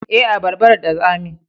Eh, abarban da tsami